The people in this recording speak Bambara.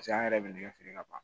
an yɛrɛ bɛ nɛgɛ feere ka ban